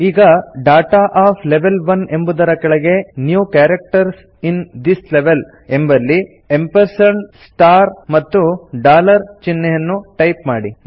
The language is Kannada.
ಈಗ ಡಾಟಾ ಒಎಫ್ ಲೆವೆಲ್ 1 ಎಂಬುದರ ಕೆಳಗೆ new characters in this level ಎಂಬಲ್ಲಿ ಆ್ಯಂಪ್ ಎಂಪರ್ಸಂಡ್ ಸ್ಟಾರ್ ಮತ್ತು ಡಾಲರ್ ಚಿಹ್ನೆಯನ್ನು ಟೈಪ್ ಮಾಡಿ